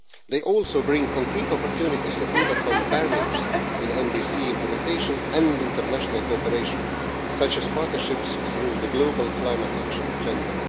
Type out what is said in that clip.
They also bring concrete opportunities to overcome barriers in NDC implementation and international cooperation, such as partnerships through the Global Climate Action agenda.